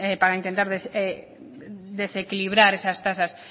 para intentar desequilibrar esas tasas